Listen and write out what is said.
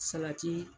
Salati